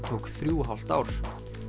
tók þrjú og hálft ár